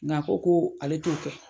Ng'a ko ko ale t'o kɛ.